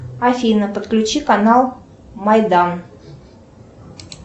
афина подключи канал майдан